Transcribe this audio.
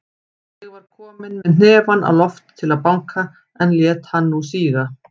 Ég var kominn með hnefann á loft til að banka, en lét hann nú síga.